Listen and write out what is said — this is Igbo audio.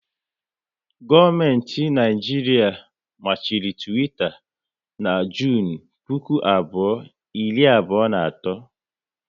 Gọọmenti Naijiria machiri Twitter na Junu puku abụọ, iri abụọ na otu